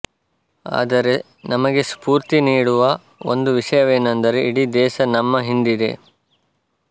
ಆದರೆ ನಮಗೆ ಸ್ಫೂರ್ತಿ ನೀಡುವ ಒಂದು ವಿಷಯವೆನೆಂದರೆ ಇಡಿ ದೇಶ ನಮ್ಮ ಹಿಂದಿದೆ